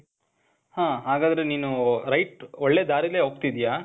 ಹಾ, ಹಾಗಾದ್ರೆ ನೀನು, right ಒಳ್ಳೆ ದಾರಿಲ್ಲೆ ಹೋಗ್ತಿದೀಯ.